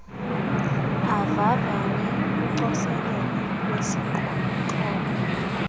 avavanye ucoselelo lwesixhobo